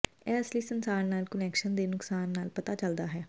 ਇਹ ਅਸਲੀ ਸੰਸਾਰ ਨਾਲ ਕੁਨੈਕਸ਼ਨ ਦੇ ਨੁਕਸਾਨ ਨਾਲ ਪਤਾ ਚੱਲਦਾ ਹੈ